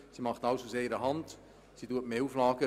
sie macht alles aus einer Hand und erfüllt mehr Auflagen.